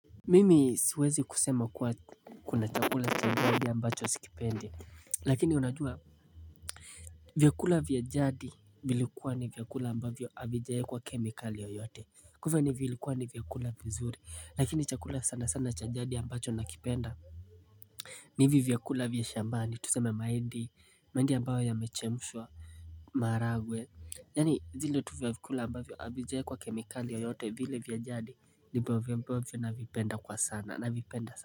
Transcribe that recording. Mimi siwezi kusema kuwa kuna chakula chambabia ambacho wa sikipendi lakini unajua vyakula vya jadi vilikuwa ni vyakula ambavyo avijae kwa kemikali yoyote kwanza vilikuwa ni vyakula vizuri lakini chakula sana sana chajadi ambacho nakipenda Nivi vyakula vya shambani tuseme maindi maindi ambayo yamechemushwa maharagwe Yani zile tuvyakula ambavyo avijaekwa kemikali yoyote vile vya jadi ndipo vya ambavyo na vipenda kwa sana na vipenda sana.